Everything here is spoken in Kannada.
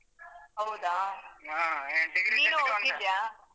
ಹೌದಾ ನೀನು ಹೋಗ್ತಿದ್ಯಾ?